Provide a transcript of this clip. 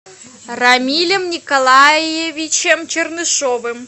рамилем николаевичем чернышовым